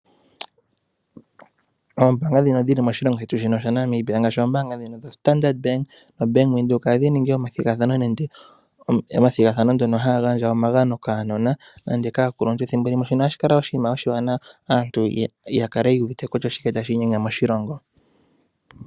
Oombaanga ndhino dhili moshilongo shetu shaNamibia ngaashi oombaanga dhoStandard Bank noBank Windhoek ohadhi ningi omathigathano mono haya gandja omagano kaanona nenge kaakuluntu. Ohashi kala oshinima oshiwanawa aantu yakale yu uvite kutya oshike tashi inyenge moshilongo.